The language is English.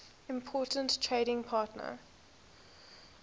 important trading partner